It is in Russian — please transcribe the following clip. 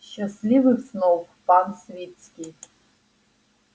счастливых снов пан свицкий